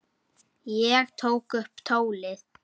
Ég tók upp tólið.